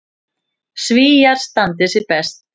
Svíar standi sig best.